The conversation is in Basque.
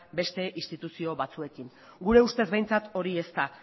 beste instituzio batzuekin gure ustez behintzat hori ez da